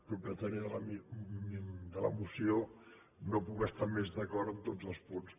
propietària de la moció no puc estar més d’acord amb tots els punts